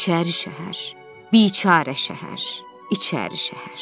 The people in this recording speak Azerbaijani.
İçəri şəhər, biçara şəhər, İçəri şəhər.